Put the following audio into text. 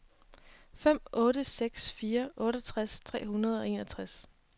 fem otte seks fire otteogtres tre hundrede og enogtres